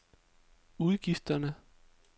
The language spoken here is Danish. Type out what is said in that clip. udgifterne